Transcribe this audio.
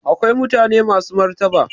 Akwai mutane masu martaba